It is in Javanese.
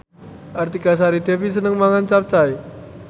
Artika Sari Devi seneng mangan capcay